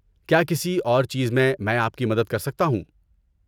کیا کسی اور چیز میں مَیں آپ کی مدد کر سکتا ہوں؟